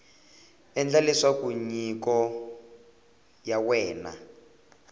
endla leswaku nyiko ya wena